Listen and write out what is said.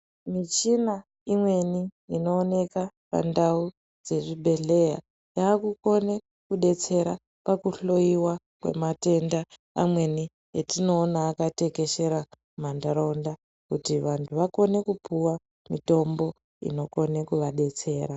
Michina imweni inooneka pandau dzezvibhedhleya yakukone kudetsera pakuhloyiwa kwematenda amweni atinoona akatekeshera mumantaraunda kuti vantu vakone kupuwa mitombo inokone kuvadetsera.